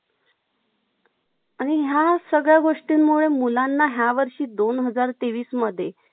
Mall चं करून टाका न. Adress send करा नायतर मी त्यान्ला sir ला माझं resume माझं biodata send करतो मंग. Job च सोपं वाटतंय मला. हे काय mall मधी